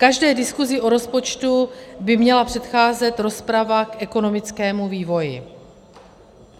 Každé diskuzi o rozpočtu by měla předcházet rozprava k ekonomickému vývoji.